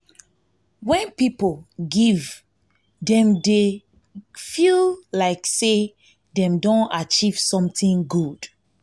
when person give dem dey dem dey feel like sey dem don achieve something good